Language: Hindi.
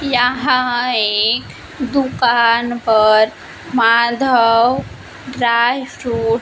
यहां एक दुकान पर माधव ड्राई स्टोर --